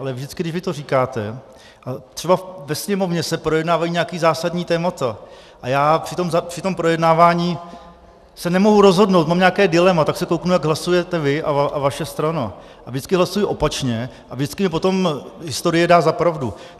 Ale vždycky, když vy to říkáte, třeba ve Sněmovně se projednávají nějaká zásadní témata a já při tom projednávání se nemohu rozhodnout, mám nějaké dilema, tak se kouknu, jak hlasujete vy a vaše strana, a vždycky hlasuji opačně a vždycky mi potom historie dá za pravdu.